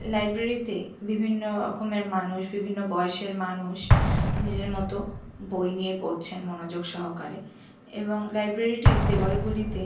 library তে বিভিন্ন রকমের মানুষ বিভিন্ন বয়সের মানুষ নিজের মত বই নিয়ে পড়ছেন মনোযোগ সহকারে এবং লাইব্রেরি টির দেয়াল গুলি তে --